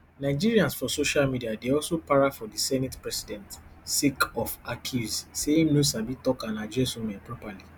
nigerians for social media dey also para for di senate president sake of accuse say im no sabi tok and address women properly